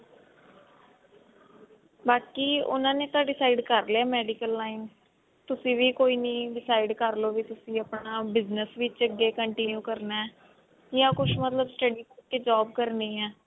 ਬਾਕੀ ਉਹਨਾਂ ਨੇ ਤਾ decide ਕਰ ਲਿਆ medical line ਤੁਸੀਂ ਵੀ ਕੋਈ ਨੀ decide ਕਰ ਲੋਗੇ ਤੁਸੀਂ ਆਪਣਾ business ਵਿੱਚ ਅੱਗੇ continue ਕਰਨਾ ਜਾ ਕੁੱਛ ਮਤਲਬ study ਕਰਕੇ job ਕਰਨੀ ਹੈ